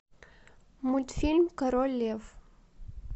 мультфильм король лев